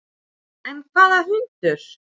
En hvaða hundur?